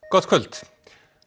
gott kvöld